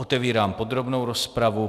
Otevírám podrobnou rozpravu.